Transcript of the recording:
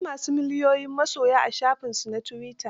Akwai ma su miliyoyin masoya a shafinsu na tuwita.